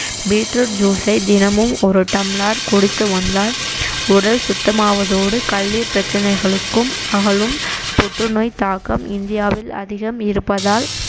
beet root juice ஐ தினமும் ஒரு tumbler குடித்து வந்தால் உடல் சுத்தமாவதோடு கல்லீர் பிரச்சனைகளுக்கும் அகலும் புற்றுநோய் தாக்கம் இந்தியாவில் அதிகம் இருப்பதால்